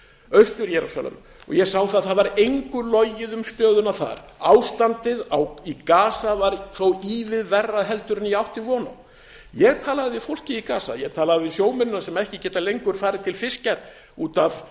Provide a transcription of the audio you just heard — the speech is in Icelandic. austur jerúsalem og ég sá að það var engu logið um stöðuna þar ástandið í gaza var þó ívið verra en ég átti von á ég talaði við fólkið í gaza ég talaði við sjómennina sem ekki geta lengur farið til fiskjar út af